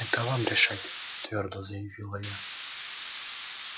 это вам решать твёрдо заявила я